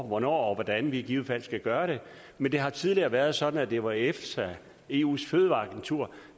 hvornår og hvordan vi i givet fald skal gøre det men det har tidligere været sådan at det var efsa eus fødevareagentur